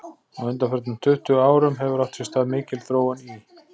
Á undanförnum tuttugu árum hefur átt sér stað mikil þróun í